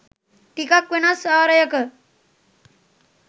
ටිකක් වෙනස් ආරයක